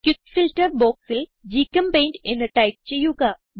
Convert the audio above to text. quick filter boxൽ ഗ്ചെമ്പെയിന്റ് എന്ന് ടൈപ്പ് ചെയ്യുക